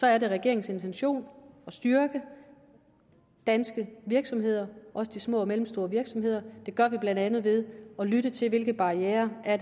er det regeringens intention at styrke de danske virksomheder også de små og mellemstore virksomheder og det gør vi blandt andet ved at lytte til hvilke barrierer der er